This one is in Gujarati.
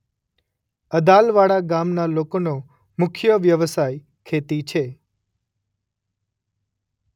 અદાલવાડા ગામના લોકોનો મુખ્ય વ્યવસાય ખેતી છે.